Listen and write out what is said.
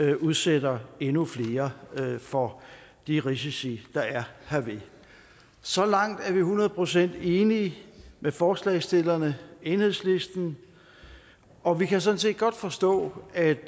ikke udsætter endnu flere for de risici der er herved så langt er vi hundrede procent enige med forslagsstillerne enhedslisten og vi kan sådan set godt forstå at